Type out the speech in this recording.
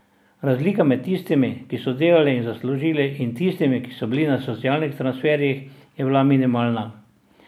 Razlika med tistimi, ki so delali in zaslužili, in tistimi, ki so bili na socialnih transferjih, je bila minimalna.